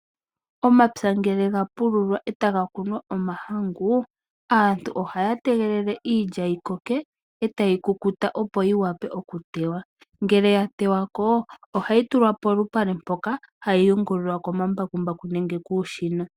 Omapya ngele gapululwa etaga kunwa omahangu ,aantu ohaya tegelele iilya yikoke etayi kukuta opo yiwape okuteywa, ngele yatewa ko ohayi tulwa polupale mpoka hayi yungulilwa komambakumbaku nenge kuushina.